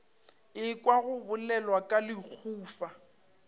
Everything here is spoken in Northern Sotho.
ekwa go bolelwa ka lehufa